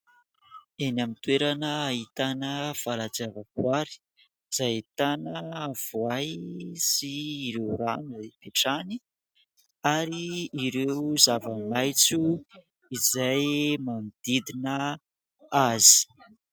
Eny amin'ny toerana ahitana valan-javaboary, izay ahitana voay sy ireo rano ipetrahany, ary ireo zava-maitso izay manodidina azy.